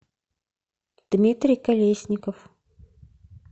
дмитрий колесников